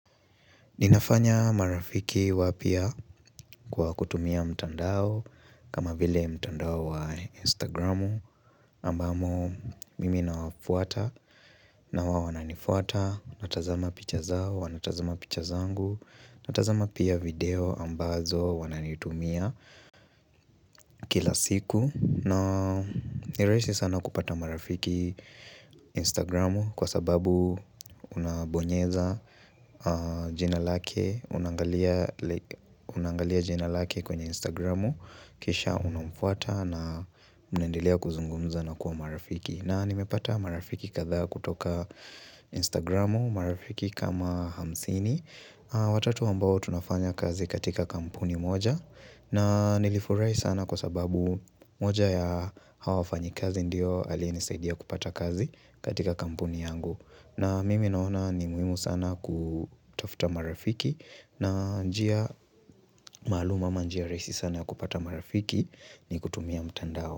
Ninafanya marafiki wapia kwa kutumia mtandao kama vile mtandao wa instagramu Ambamo mimi nawafuata na wawananifuata Natazama picha zao, wanatazama picha zangu Natazama pia video ambazo wananitumia kila siku na niraisi sana kupata marafiki instagramu kwa sababu unabonyeza jina lake, unangalia jina lake kwenye Instagramu kisha unamfuata na mnaendelea kuzungumza na kuwa marafiki na nimepata marafiki katha kutoka Instagramu, marafiki kama hamsini watatu ambao tunafanya kazi katika kampuni moja na nilifurai sana kwa sababu moja ya hawa wafanyi kazi ndiyo Alinesaidia kupata kazi katika kampuni yangu na mimi naona ni muhimu sana kutafuta marafiki na njia malum ama njia raisi sana ya kupata marafiki ni kutumia mtandao.